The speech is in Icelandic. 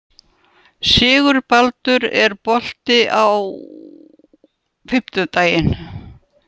Sigurbaldur, er bolti á fimmtudaginn?